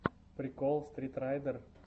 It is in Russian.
прикол стритрайдер